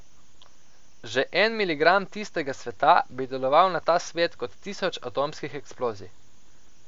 Že en miligram tistega sveta bi deloval na ta svet kot tisoč atomskih eksplozij.